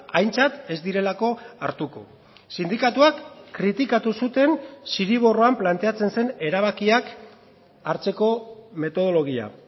aintzat ez direlako hartuko sindikatuak kritikatu zuten zirriborroan planteatzen zen erabakiak hartzeko metodologia